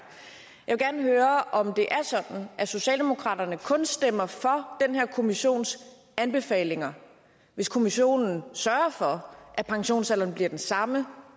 vil gerne høre om det er sådan at socialdemokraterne kun stemmer for den her kommissions anbefalinger hvis kommissionen sørger for at pensionsalderen bliver den samme